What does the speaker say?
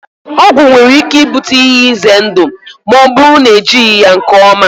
Ọgwụ nwere ike ibute ihe ize ndụ ma ọ bụrụ na ejighị ya nke ọma.